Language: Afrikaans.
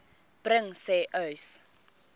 bring sê uys